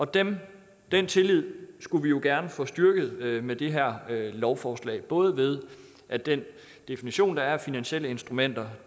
den den tillid skulle vi jo gerne få styrket med det her lovforslag både ved at den definition der er af finansielle instrumenter